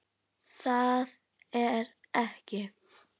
Það er ekki.